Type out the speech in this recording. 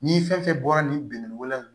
Ni fɛn fɛn bɔra nin binnkanni wolo in na